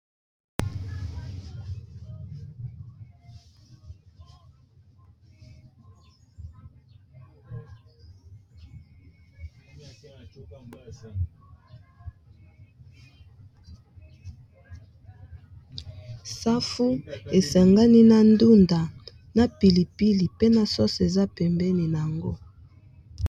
safu esangani na ndunda na pilipili pe na soso eza pembeni na yango